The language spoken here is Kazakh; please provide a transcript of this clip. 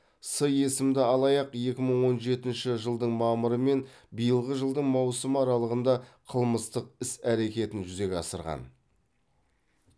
с есімді алаяқ екі мың он жетінші жылдың мамыры мен биылғы жылдың маусымы аралығында қылмыстық іс әрекетін жүзеге асырған